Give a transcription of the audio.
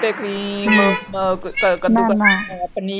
ਉੱਤੇ ਕਰੀਮ ਕ ਕਦੁ।